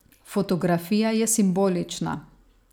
Fotografija je simbolična.